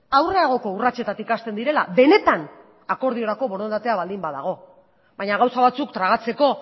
aurreragoko urratsetatik hasten direla benetan akordiorako borondatea baldin badago baina gauza batzuk tragatzeko